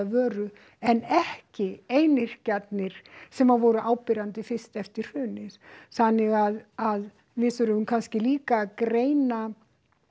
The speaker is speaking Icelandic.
vöru en ekki einyrkjarnir sem voru áberandi fyrst eftir hrun þannig að að við þurfum kannski líka að greina